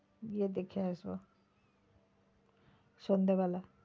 গিয়ে দেখে আসবো সন্ধ্যে বেলায়।